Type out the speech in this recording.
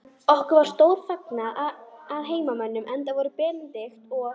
Okkur var stórvel fagnað af heimamönnum, enda voru Benedikt og